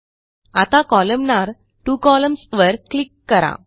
आता कोलमनार two columns वर क्लिक करा